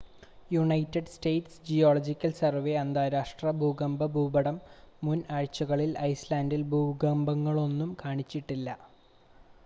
United States Geological Survey അന്താരാഷ്ട്ര ഭൂകമ്പ ഭൂപടം മുൻ ആഴ്ചയിൽ ഐസ്ലാൻഡിൽ ഭൂകമ്പങ്ങളൊന്നും കാണിച്ചില്ല